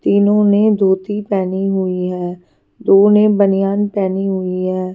तीनों ने धोती पहनी हुई है दो ने बनियान पहनी हुई है।